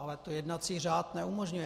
Ale to jednací řád neumožňuje.